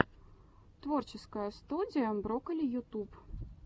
творческая студия брокколи ютуб